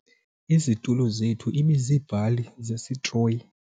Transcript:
Izitulo zethu ibiziibhali zesitroyi.